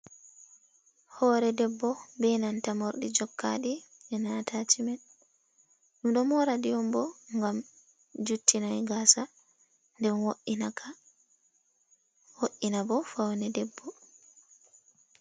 Hoore debbo be nanta morɗi jokkaɗi ena atacimet. Ɗum ɗo moraɗi on bo ngam juttinai gasa, nden woiina ka woiina bo fawne debbo.